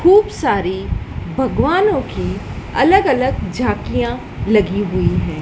खूब सारी भगवानों की अलग अलग झांकियां लगी हुई है।